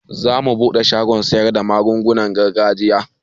Zamu buɗe shagon siyarda magungunan gargajiya